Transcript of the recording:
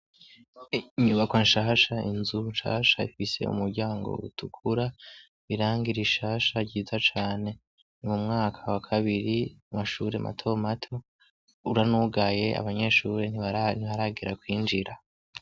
Inyubakwa nshasha, inzu nshasha ifise umuryango utukura, irangi rishasha ryiza cane, mu mwaka wa kabiri w'amashure mato mato, uranugaye abanyeshure ntibaraza, ntiharagera kwinjira.